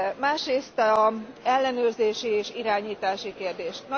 Másrészt az ellenőrzési és irányítási kérdés.